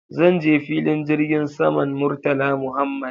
Zan je filin jirgin saman Murtala Muhammad